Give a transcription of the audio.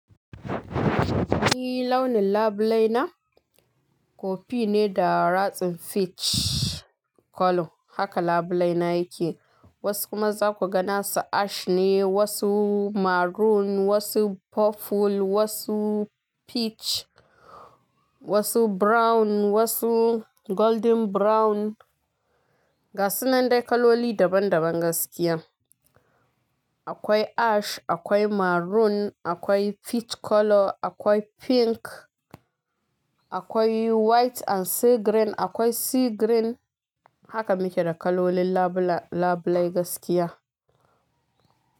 Ni launin labulai na kofi ne da ratsin peach colour haka labulai na yake. Wasu kuma za ku ga nasu ash ne, wasu maroon, wasu purple, wasu peach, wasu brown, wasu golden brown. Ga sunan dai kaloli daban daban gaskiya. Akwai ash, akwai maroon, akwai peach colour, akwai pink, akwai white and sea green, akwai sea green. Haka muke da kalolin labulai gaskiya.